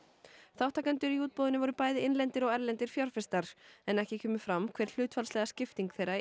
þátttakendur í útboðinu voru bæði innlendir og erlendir fjárfestar en ekki kemur fram hver hlutfallsleg skipting þeirra